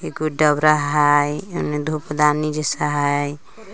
एगो दउरा हइ एने धुप दानी जइसा हइ।